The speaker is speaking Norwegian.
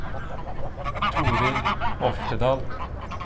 Torill Oftedal